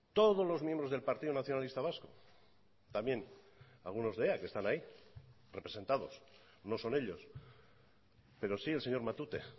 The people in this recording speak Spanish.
todos los miembros del partido nacionalista vasco también algunos de ea que están ahí representados no son ellos pero sí el señor matute